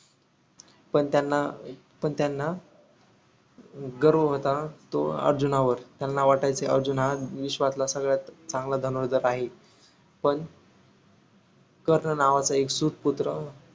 पण त्यांना पण त्यांना गर्व होता तो अर्जुनावर त्यानां वाटायचे अर्जुन हा विश्वातला सर्वात चांगला धनुर्धर आहेपण कर्ण नावाचा एक सूत पुत्र